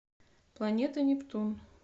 планета нептун